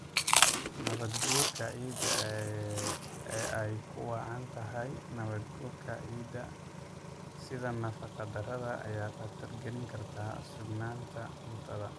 Nabaadguurka ciidda ee ay ugu wacan tahay nabaad-guurka ciidda iyo nafaqo-darrada ayaa khatar gelin karta sugnaanta cuntada.